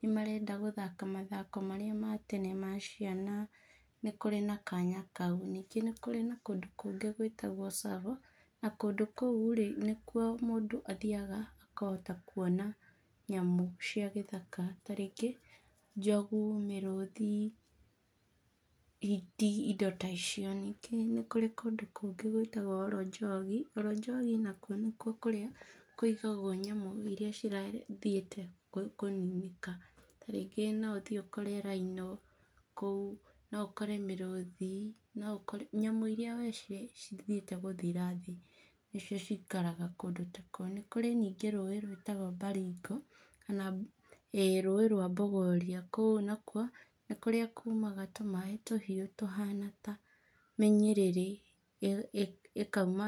nĩ marenda gũthaka mathako marĩa ma tene ma ciana, nĩ kũrĩ na kanya kau. Ningĩ nĩ kũrĩ na kũndũ kũngĩ gwĩtagwo Tsavo na kũndũ kũu rĩ nĩ kuo mũndũ athiyaga akahota kuona nyamũ cia gĩthaka tarĩngĩ Njogu, mĩrũthi, hiti, ĩndo ta icio. Ningĩ nĩ kũrĩ kũndũ kũngĩ gwĩtagwo olonjogi, olonjogi nakuo nĩkuo kũrĩa kũigagwo nyamũ ĩria cithiĩte kũninĩka, tarĩngĩ no ũthĩ ũkore rhino kũu, no ũkore mũrũthi, nyamũ ĩria cithiĩte gũthira thĩ nĩcio cikaraga kũndũ ta kũu. Nĩ kũrĩ ningĩ rũĩ rwĩtagwo Baringo kana Bogoria kũu nakuo nĩ kũrĩa kũmaga tũmaĩ tũhĩũ tũhana ta mĩnyĩrĩrĩ ĩkauma